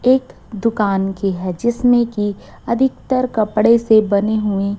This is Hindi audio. एक दुकान की है जिसमें की अधिकतर कपड़े से बने हुए--